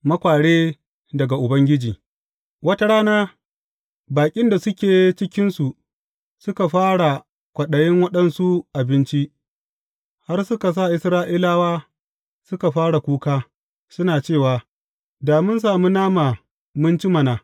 Makware daga Ubangiji Wata rana, baƙin da suke cikinsu, suka fara kwaɗayin waɗansu abinci, har suka sa Isra’ilawa suka fara kuka, suna cewa, Da mun sami nama mun ci mana!